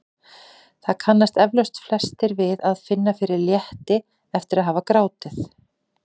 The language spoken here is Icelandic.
Það kannast eflaust flestir við að finna fyrir létti eftir að hafa grátið.